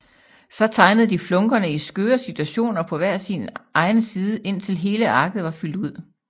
Så tegnede de flunkerne i skøre situationer på hver sin egen side indtil hele arket var fyldt ud